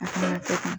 A kuma kɛ